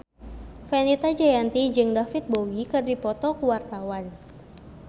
Fenita Jayanti jeung David Bowie keur dipoto ku wartawan